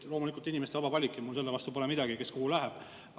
Loomulikult on inimestel vaba valik ja mul pole midagi selle vastu, kui keegi kuhugi läheb.